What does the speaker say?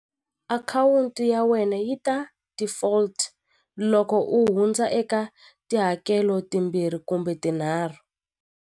Akhawunti ya wena yi ta default loko u hundza eka tihakelo timbirhi kumbe tinharhu.